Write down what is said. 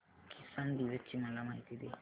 किसान दिवस ची मला माहिती दे